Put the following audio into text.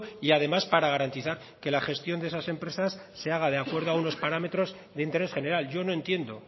y además para garantizar que la gestión de esas empresas se haga de acuerdo a unos parámetros de interés general yo no entiendo